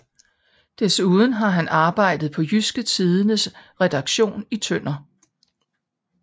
Desuden har han arbejdet på Jydske Tidendes redaktion i Tønder